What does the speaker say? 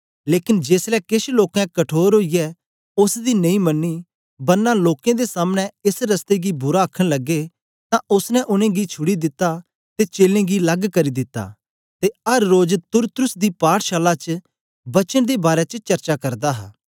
लेकन जेसलै केछ लोकें कठोर ओईयै ओसदी नेई मन्नी बरना लोकें दे सामने एस रस्ते गी बुरा आखन लगे ते ओसने उनेंगी छुड़ी दिता ते चेलें गी लग्ग करी दिता ते अर रोज तुरत्रुस दी पाठ शाला च वचन दे बारै च चर्चा करदा हा